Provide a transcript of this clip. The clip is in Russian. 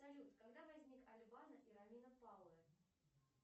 салют когда возник и